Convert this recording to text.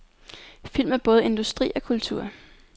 Film er både industri og kultur.